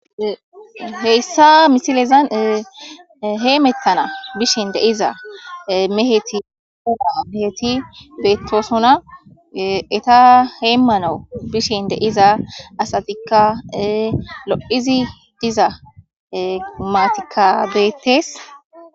Heyssa misilezan heemettana bishen deiza meheti huma meheti beettosona eta heymanau bishen deiza asatikka lo7izi diza matikabeettes.